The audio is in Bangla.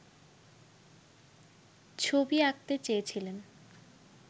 ছবি আঁকাতে চেয়েছিলেন